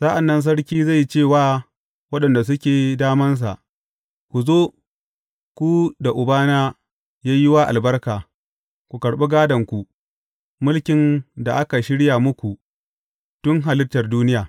Sa’an nan Sarki zai ce wa waɗanda suke damansa, Ku zo, ku da Ubana ya yi wa albarka; ku karɓi gādonku, mulkin da aka shirya muku tun halittar duniya.